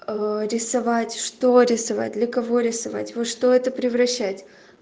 рисовать что рисовать для кого рисовать вы что это превращать